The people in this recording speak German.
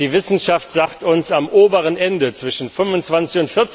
Die Wissenschaft sagt uns, am oberen Ende zwischen 25